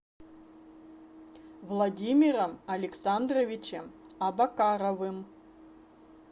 владимиром александровичем абакаровым